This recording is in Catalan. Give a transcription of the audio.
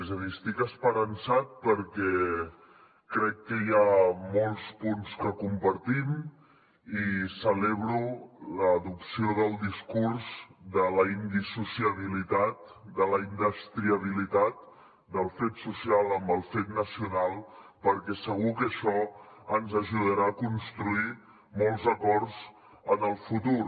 és a dir estic esperançat perquè crec que hi ha molts punts que compartim i celebro l’adopció del discurs de la indissociabilitat de la indestriabilitat del fet social amb el fet nacional perquè segur que això ens ajudarà a construir molts acords en el futur